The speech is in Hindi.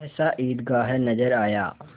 सहसा ईदगाह नजर आया